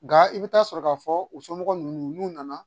Nka i bɛ taa sɔrɔ k'a fɔ u somɔgɔw n'u nana